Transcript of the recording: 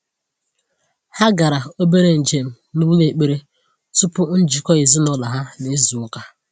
Ha gara obere njem n’ụlọ ekpere tupu njikọ ezinụlọ ha n’izu ụka.